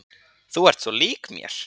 Þú ert svo lík mér!